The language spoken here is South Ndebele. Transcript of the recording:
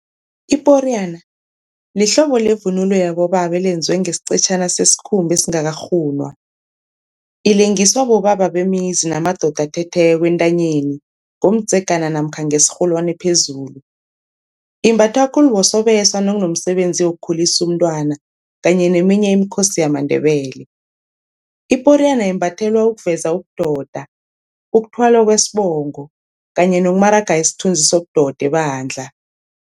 Iporiyana lihlobo levunulo yabobaba elenziwe ngesiqetjhana sesikhumba esingakarhunwa, ilengiswa bobaba bemizi namadoda athetheko entanyeni ngomdzegana namkha ngesirholwani phezulu. Imbathwa khulu bosobesa nakunomsebenzi wokukhulisa umntwana kanye neminye imikhosi yamaNdebele. Iporiyana imbathelwa ukuveza ubudoda, ukuthwala kwesibongo kanye nokumaraga isithunzi sobudoda ebandla.